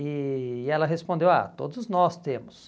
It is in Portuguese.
E e ela respondeu, ah, todos nós temos.